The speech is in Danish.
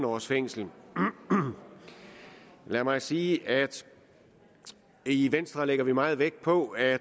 års fængsel lad mig sige at vi i venstre lægger meget vægt på at